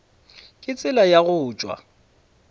ka tsela ya go tšwa